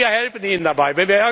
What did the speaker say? Wir helfen Ihnen dabei.